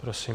Prosím.